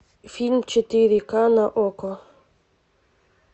фильм четыре ка на окко